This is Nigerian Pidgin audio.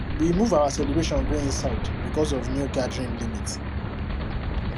we move our celebration go inside because of new gathering limit